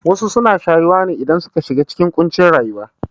Wasu suna shayuwa ne idan suka shiga cikin ƙuncin rayuwa